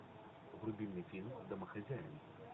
вруби мне фильм домохозяин